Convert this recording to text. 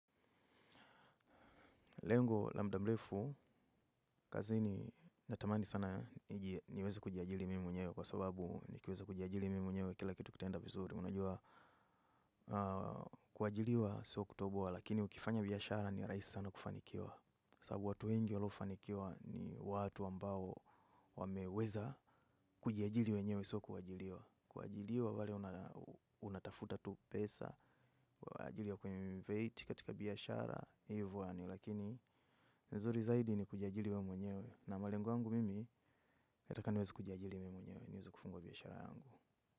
Lengo la mda mlefu, kazini natamani sana niweze kujiajili mimi mwenyewe kwa sababu nikiwezi kujiajili mimi mwenyewe kila kitu kitaenda vizuri. Unajua kuajiliwa so kutobo, lakini ukifanya biyashara ni raisi sana kufanikiwa. Sabu watu wengi walofanikiwa ni watu ambao wameweza kujiajili wenyewe sio kuajiliwa. Kuajiriwa wale unatafuta tu pesa, kwa ajili ya kwenye kuelevate katika biashara, hivo yani, lakini nizuri zaidi ni kujiajiri we mwenyewe na malengo yangu mimi nataka niweze kujiajiri mimi mwenyewe, niweze kufungua biashara.